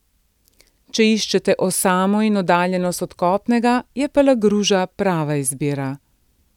Če iščete osamo in oddaljenost od kopnega, je Palagruža prava izbira.